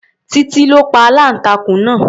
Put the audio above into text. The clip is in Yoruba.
Titi ló pa aláǹtakùn náà.